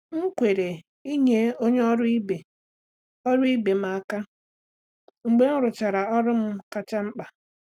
M kwere inye onye ọrụ ibe ọrụ ibe m aka mgbe m rụchara ọrụ m kacha mkpa.